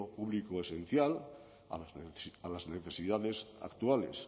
público esencial a las necesidades actuales